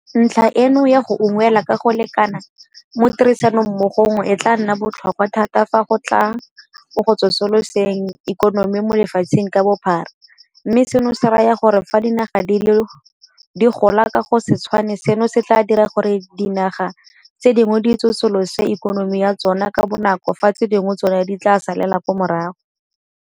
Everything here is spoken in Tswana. Ntlha eno ya go unngwelwa ka go lekana mo tirisanommogong e tla nna e e botlhokwa thata fa go tla mo go tsosoloseng ikonomi mo lefatsheng ka bophara, mme seno se raya gore fa dinaga di gola ka go se tshwane seno se tla dira gore dianaga tse dingwe di tsosolose ikonomi ya tsona ka bonako fa tse dingwe tsona di tla salela morago.